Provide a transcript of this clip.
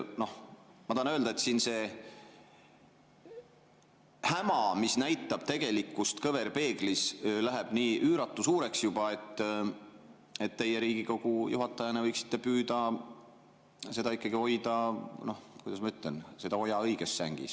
Noh, ma tahan öelda, et see häma, mis näitab tegelikkust kõverpeeglis, läheb nii üüratu suureks juba, et teie Riigikogu juhatajana võiksite püüda ikkagi hoida, kuidas ma ütlen, seda oja õiges sängis.